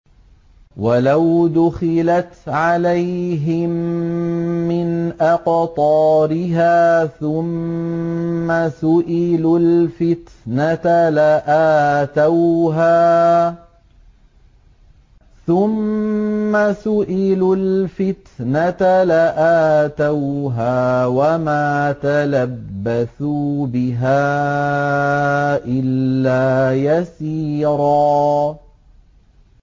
وَلَوْ دُخِلَتْ عَلَيْهِم مِّنْ أَقْطَارِهَا ثُمَّ سُئِلُوا الْفِتْنَةَ لَآتَوْهَا وَمَا تَلَبَّثُوا بِهَا إِلَّا يَسِيرًا